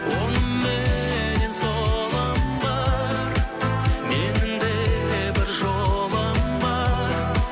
оңымменнен солым бар менің де бір жолым бар